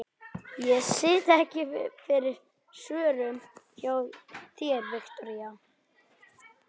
Ég sit ekki fyrir svörum hjá þér, Viktoría.